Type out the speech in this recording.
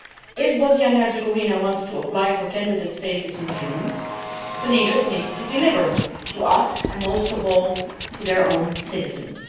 If Bosnia and Herzegovina wants to apply for candidate status in June, the leaders need to deliver to us and most of all to their own citizens.